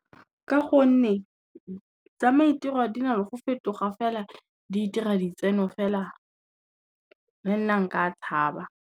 Ka gonne, tsa maitirelo di na le go fetoga fela di itira di tseno fela, le nna nka tshaba.